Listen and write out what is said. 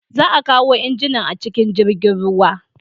Za a kawo injinan a cikin jirgin ruwa.